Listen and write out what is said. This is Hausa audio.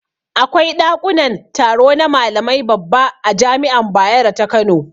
Akwai daƙunan taro na malamai babba a jami'an bayaro ta kano.